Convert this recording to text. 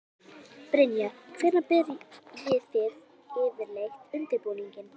Brynja: Hvenær byrjið þið yfirleitt undirbúninginn?